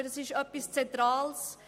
Ich glaube, das ist zentral: